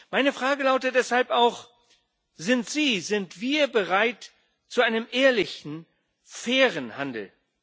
Meine Frage lautet deshalb auch Sind Sie, sind wir bereit zu einem ehrlichen fairen Handel?